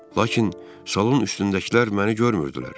Lakin salon üstündəkilər məni görmürdülər.